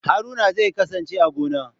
Haruna zai kasance a gona.